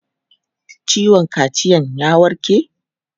Ciwon kaciyan ya warke?